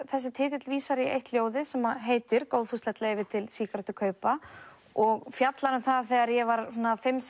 þessi titill vísar í eitt ljóðið sem heitir góðfúslegt leyfi til sígarettukaupa og fjallar um það þegar ég var svona fimm